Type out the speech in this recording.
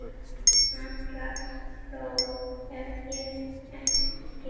Meira hól hef ég ekki.